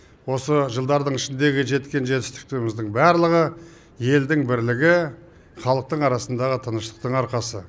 осы жылдардың ішіндегі жеткен жетістіктеріміздің барлығы елдің бірлігі халықтың арасындағы тыныштықтың арқасы